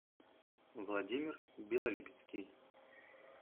владимир белолипецкий